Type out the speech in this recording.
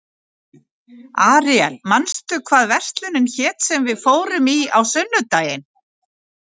Aríel, manstu hvað verslunin hét sem við fórum í á sunnudaginn?